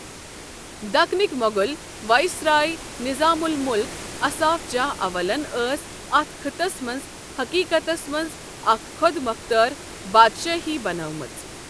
دَکنٕکۍ Mughal viceroy, Nizam ul-Mulk Asaf Jah اَولن ٲس اَتھ خٕطس منٛز حٔقیٖقَتس منٛز اَکھ خۄدمۄختار بادشٲہی بَنٲومٕژ۔